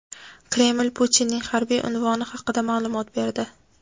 Kreml Putinning harbiy unvoni haqida ma’lumot berdi.